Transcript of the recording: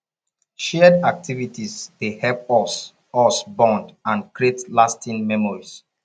shared activities dey help us us bond and create lasting memories